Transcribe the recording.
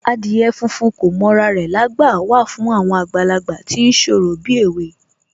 Adìyẹ funfun kò mọ ra rẹ̀lágbà wà fún àwọn àgbàlagbà tí ń ṣorò bíèwe